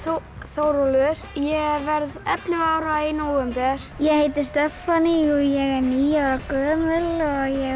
Þórólfur ég verð ellefu ára í nóvember ég heiti Stephanie og ég er níu ára gömul ég